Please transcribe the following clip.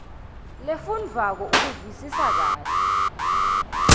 lefundvwako ukuvisisa kahle